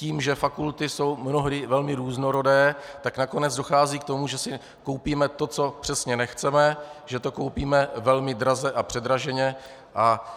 Tím, že fakulty jsou mnohdy velmi různorodé, tak nakonec dochází k tomu, že si koupíme to, co přesně nechceme, že to koupíme velmi draze a předraženě a